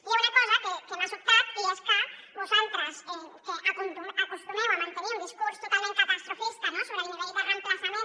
hi ha una cosa que m’ha sobtat i és que vosaltres que acostumeu a mantenir un discurs totalment catastrofista sobre el nivell de reemplaçament